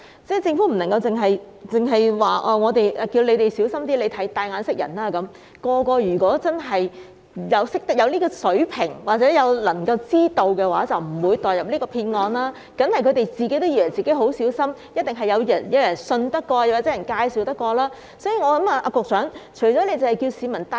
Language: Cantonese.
政府不能只是叫大家小心一點、"帶眼識人"便算，如果人人都有這種水平或者能夠知道的話，便不會墮入騙案，當然是他們也以為自己已經很小心，一定是認為有可信的人或經別人介紹才決定購買。